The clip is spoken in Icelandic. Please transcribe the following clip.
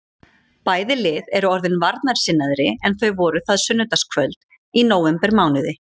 Bæði lið eru orðin varnarsinnaðri en þau voru það sunnudagskvöld í nóvembermánuði.